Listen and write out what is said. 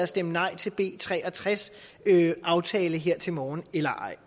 stemt nej til b tre og tres aftale her til morgen eller ej